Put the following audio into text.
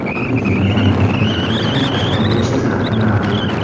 Epidemiyaning yangi to‘lqini paydo bo‘lishi xavfi mavjud.